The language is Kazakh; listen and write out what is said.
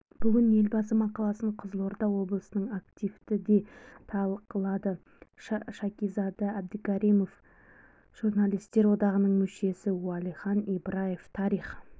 бүгін елбасы мақаласын қызылорда облысының активі де талқылады шакизада әбдікәрімов журналистер одағының мүшесі уәлихан ибраев тарих